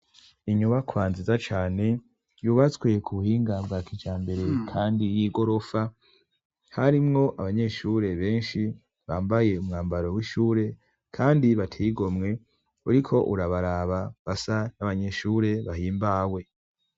Inyubakwa nziza cane yubatswe ku buhinga bwa kijambere kandi y'igorofa; harimwo abanyeshure benshi bambaye umwambaro w'ishure kandi bateye igomwe, uriko urabaraba basa n'abanyeshure bahimbawe.